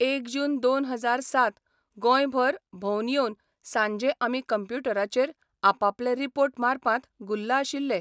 एक जून दोन हजार सात गोंयभर भोंवन येवन सांजे आमी कम्प्युटराचेर आपापले रिपोर्ट मारपांत गुल्ल आशिल्ले.